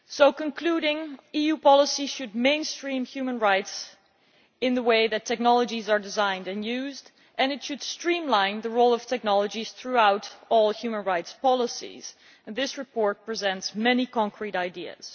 In concluding, EU policy should mainstream human rights in the way that technologies are designed and used and mainstream the role of technologies throughout all human rights policies, and this report presents many concrete ideas.